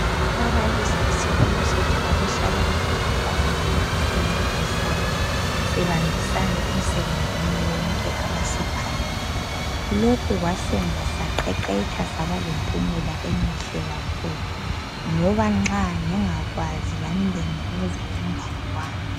Ababalisi eskolo sethu babehlala besikhuthaza ukuthi sincedisane sibambisane emsebenzini yonke abasipha yona lokhu kwasenza saqeqetsha sabalempumela emihle kakhulu ngoba nxa ngingakwazi lami bengibuza umnganewami